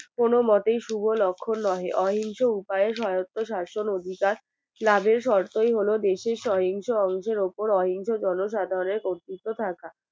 কোনো মতোই শুভ লক্ষণ নহে অহিংস উপায়ে সহেয়ত্ত শাসন অধিকার লাভের শর্তই হলো দেশের সহিংস অন্ধের উপর অহিংস জনসাধাণের কর্তৃত্ব থাকা